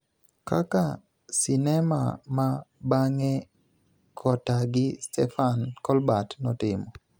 kaka �Sinema ma Bang�e kota gi Stefan Kolbert� notimo.